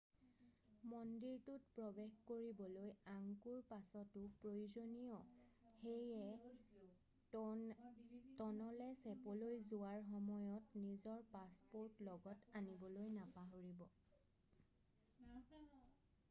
মন্দিৰটোত প্ৰৱেশ কৰিবলৈ আংকোৰ পাছটো প্ৰয়োজনীয় সেয়ে ট'নলে ছেপলৈ যোৱাৰ সময়ত নিজৰ পাছপৰ্ট লগত আনিবলৈ নাপাহৰিব